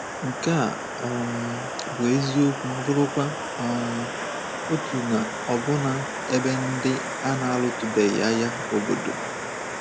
Nke a um bụ eziokwu bụrụkwa um otu na ọbụna ebe ndị a na-alụtụbeghị agha obodo.